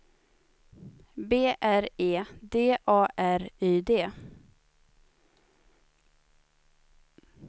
B R E D A R Y D